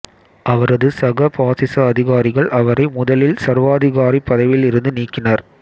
அவரது சக பாசிச அதிகாரிகள் அவரை முதலில் சர்வாதிகாரிப் பதவியில் இருந்து நீக்கினர்